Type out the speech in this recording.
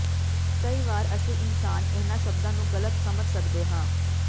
ਕਈ ਵਾਰ ਅਸੀਂ ਇਨਸਾਨ ਇਹਨਾਂ ਸ਼ਬਦਾਂ ਨੂੰ ਗਲਤ ਸਮਝ ਸਕਦੇ ਹਾਂ